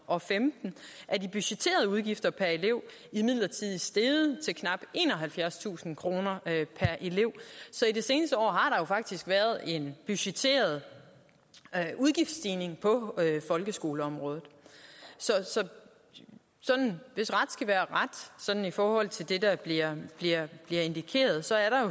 og femten er de budgetterede udgifter per elev imidlertid steget til knap enoghalvfjerdstusind kroner per elev så i det seneste år har der jo faktisk været en budgetteret udgiftsstigning på folkeskoleområdet så hvis ret skal være ret sådan i forhold til det der bliver indikeret så er der